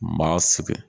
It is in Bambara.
Maa sig